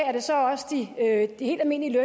er det så også de helt almindelige